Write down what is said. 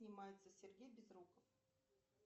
снимается сергей безруков